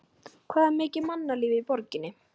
Það var mikið mannlíf í borginni.